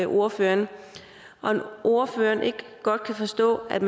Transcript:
ordføreren om ordføreren ikke godt kan forstå at